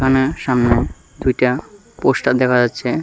অ্যা সামনে দুইটা পোস্টার দেখা যাচ্ছে।